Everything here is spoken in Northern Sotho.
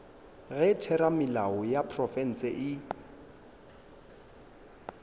ge theramelao ya profense e